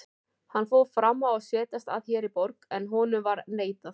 Hann fór fram á að setjast að hér í borg, en honum var neitað.